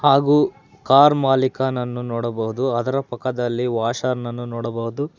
ಹಾಗು ಕಾರ್ ಮಾಲಿಕನನ್ನು ನೋಡಬಹುದು ಅದರ ಪಕ್ಕದಲ್ಲಿ ವಾಷರ್ನನ್ನು ನೋಡಬಹುದು.